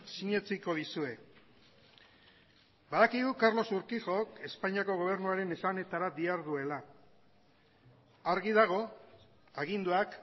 sinetsiko dizue badakigu carlos urquijok espainiako gobernuaren esanetara diharduela argi dago aginduak